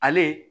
Ale